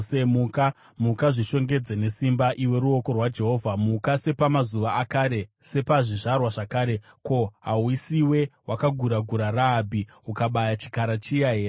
Muka, muka! Zvishongedze nesimba, iwe ruoko rwaJehovha; muka, sepamazuva akare, sepazvizvarwa zvakare. Ko, hausiwe wakagura-gura Rahabhi, ukabaya chikara chiya here?